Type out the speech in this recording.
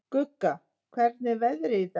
Gugga, hvernig er veðrið í dag?